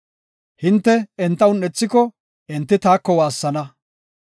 Hinte enta un7ethiko, enti taako waassana;